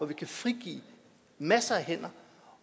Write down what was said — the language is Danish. vi frigive masser af hænder